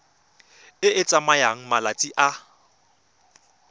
e e tsayang malatsi a